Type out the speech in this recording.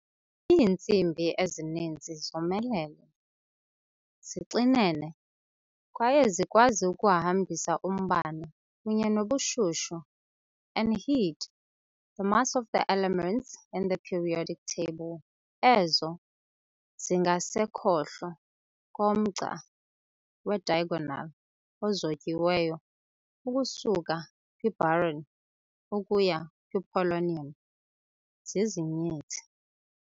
Iintsimbi ezininzi zomelele, zixinene, kwaye zikwazi ukuhambisa umbane kunye nobushushu. and heat. The mass of the elements in the periodic table, ezo zingasekhohlo komgca wediagonal ozotyiweyo ukusuka kwiboron ukuya kwipolonium, zizinyithi.